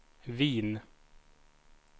Wien